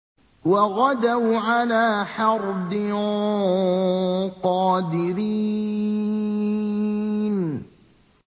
وَغَدَوْا عَلَىٰ حَرْدٍ قَادِرِينَ